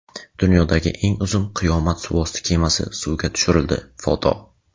Dunyodagi eng uzun "Qiyomat suvosti kemasi" suvga tushirildi (foto).